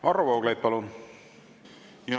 Varro Vooglaid, palun!